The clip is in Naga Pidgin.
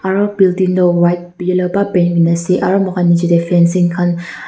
aru building toh white aru moikhan niche teh fancing khan--